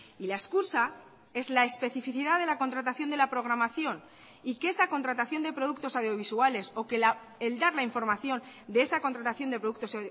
y la excusa es la especificidad de la contratación de la programación y que esa contratación de productos audiovisuales o que el dar la información de esa contratación de productos